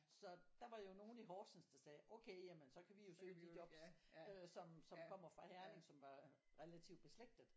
Så der var jo nogen i Horsens der sagde okay jamen så kan vi jo søge de jobs øh som som kommer fra Herning som var relativt beslægtet